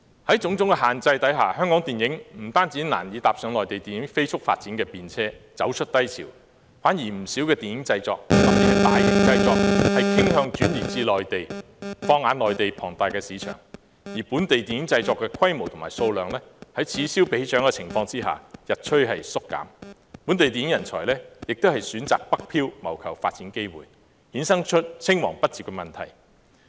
在種種限制下，香港電影不單難以搭上內地影業飛速發展的便車，走出低潮，相反不少電影製作特別是大型製作傾向轉移至內地，放眼內地龐大的市場，而本地電影製作的規模和數量，在此消彼長的情況下日趨縮減，本地電影人才也選擇北漂謀求發展機會，衍生出青黃不接的問題。